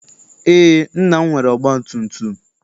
Eé, nna m nwere ọgbatumtum.